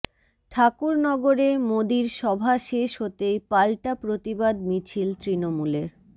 ঠাকুরনগরে মোদীর সভা শেষ হতেই পাল্টা প্রতিবাদ মিছিল তৃণমূলের